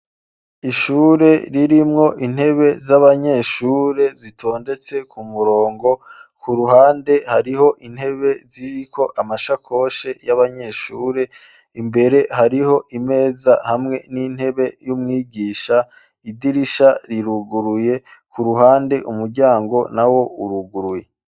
Ishure ririmwo intebe z'abanyeshure zitondetse ku murongo ku ruhande hariho intebe ziriko amasha koshe y'abanyeshure imbere hariho imeza hamwe n'intebe y'umwigisha idirisha riruguruye ku ruhande umuryangona na wo uruguruye.